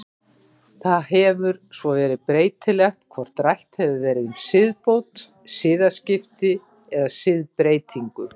Það hefur svo verið breytilegt hvort rætt hefur verið um siðbót, siðaskipti eða siðbreytingu.